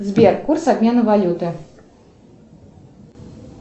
сбер курс обмена валюты